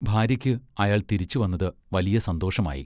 ഭാര്യയ്ക്ക് അയാൾ തിരിച്ചുവന്നത് വലിയ സന്തോഷമായി.